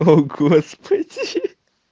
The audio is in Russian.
о господи